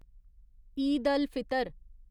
Eid al Fitr